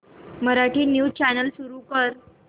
Marathi news channel सुरू कर